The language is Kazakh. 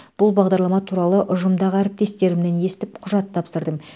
бұл бағдарлама туралы ұжымдағы әріптестерімнен естіп құжат тапсырдым